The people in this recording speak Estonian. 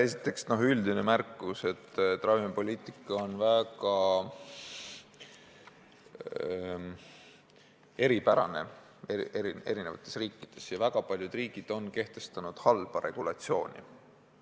Esiteks, üldine märkus: ravimipoliitika on eri riikides väga eripärane ja väga paljud riigid on kehtestanud halva regulatsiooni.